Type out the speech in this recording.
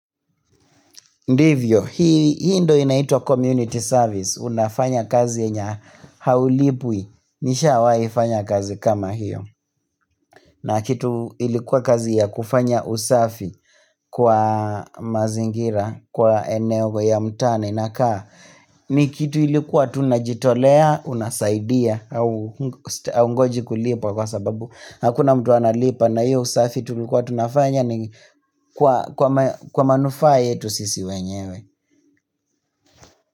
Ndivyo, hii ndio inaitwa community service, unafanya kazi yenye haulipwi, nishawahi fanya kazi kama hiyo. Na kitu ilikuwa kazi ya kufanya usafi kwa mazingira, kwa eneo ya mtaa, nina kaa, ni kitu ilikuwa tunajitolea, unasaidia, haungoji kulipwa kwa sababu, hakuna mtu analipa, na hiyo usafi tulikuwa tunafanya ni kwa manufaa yetu sisi wenyewe.